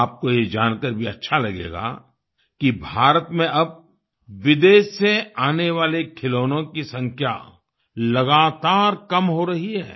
आपको ये जानकर भी अच्छा लगेगा कि भारत में अब विदेश से आने वाले खिलौनों की संख्या लगातार कम हो रही है